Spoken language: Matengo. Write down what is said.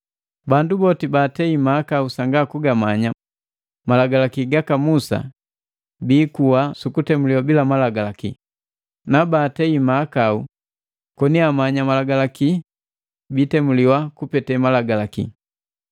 Bandu boti baatei mahakau sanga kugamanya Malagalaki gaka Musa biikuwa sukutemuliwa bila Malagalaki, na baatei mahakau koni amanya Malagalaki, biitemuliwa kupete malagalaki.